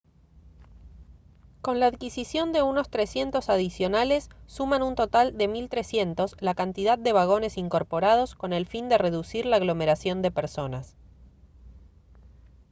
con la adquisición de unos 300 adicionales suman un total de 1300 la cantidad de vagones incorporados con el fin de reducir la aglomeración de personas